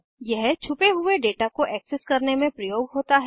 यह छुपे हुए दाता को एक्सेस करने में प्रयोग होता है